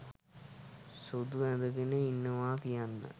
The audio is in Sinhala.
සුදු ඇඳගෙන ඉන්නවා කියන්න.